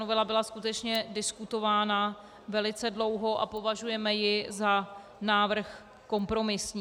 Novela byla skutečně diskutována velice dlouho a považujeme ji za návrh kompromisní.